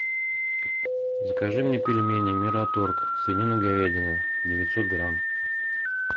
закажи мне пельмени мираторг свинина говядина девятьсот грамм